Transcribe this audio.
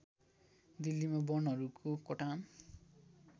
दिल्लीमा वनहरूको कटान